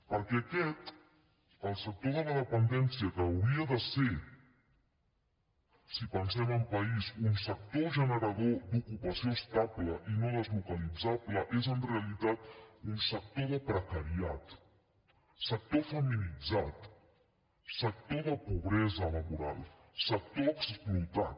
perquè aquest el sector de la dependència que hauria de ser si pensem en país un sector generador d’ocupació estable i no deslocalitzable és en realitat un sector de precariat sector feminitzat sector de pobresa laboral sector explotat